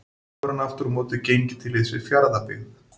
Nú hefur hann aftur á móti gengið til liðs við Fjarðabyggð.